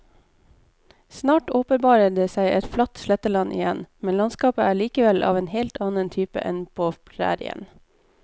Snart åpenbarer det seg et flatt sletteland igjen, men landskapet er likevel av en helt annen type enn på prærien.